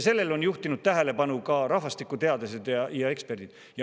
Sellele on juhtinud tähelepanu ka rahvastikuteadlased ja eksperdid.